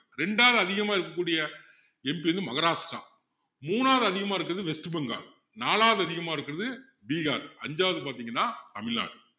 ரெண்டாவது அதிகமா இருக்ககூடிய MP எது மகாராஷ்டிரா மூணாவது அதிகமா இருக்கிறது west bengal நாலாவது அதிகமா இருக்கிறது பீகார் ஐந்தாவது பார்த்தீங்கண்னா தமிழ்நாடு